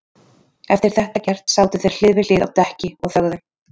Eftir þetta gert sátu þeir hlið við hlið á dekki og þögðu.